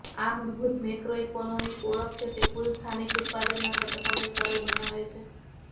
આ મૂળભૂત મેક્રોઇકોનોમિક ઓળખ છે તે કુલ સ્થાનિક ઉત્પાદનના ઘટકોને સરળ બનાવે છે